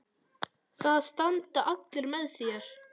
Það standa allir með þér.